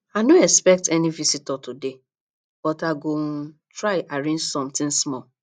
i no expect any visitor today but i go um try arrange something small